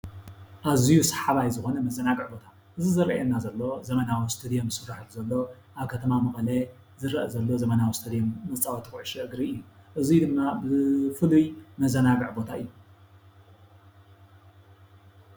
ኣዝዩ ሳሓባይ ዝኾነ መዘናግዒ ቦታ፦ እዚ ዝርኣየና ዘሎ ዘበናዊ እስተድዮም ዝስራሓሉ ዘሎ ኣብ ከተማ መቐለ ዝርአ ዘሎ ዘመናዊ እስተድዮም መፃወቲ ኩዕሾ እግሪ እዩ። እዙይ ድማ ብፍሉይ መዘናግዒ ቦታ እዩ።